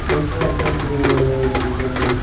phone তো আছে অ কৰিব লাগে, thank you, thank you